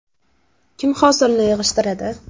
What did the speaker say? Kim hosilni yig‘ishtiradi?